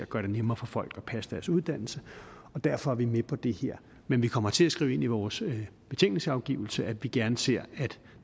gøre det nemmere for folk at passe deres uddannelse og derfor er vi med på det her men vi kommer til at skrive ind i vores betænkningsafgivelse at vi gerne ser